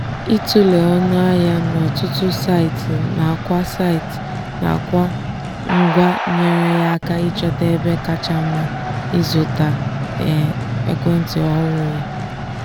ịtụle ọnụ ahịa n'ọtụtụ saịtị nakwa saịtị nakwa ngwa nyeere ya aka ịchọta ebe kacha mma ịzụta ekwentị ọhụrụ ya.